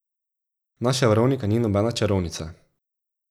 Naša Veronika ni nobena čarovnica.